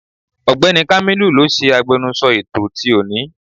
Ọ̀gbẹ́ni kámílù ló ṣe agbẹnusọ ètò ti òní.